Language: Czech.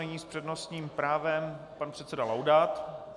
Nyní s přednostním právem pan předseda Laudát.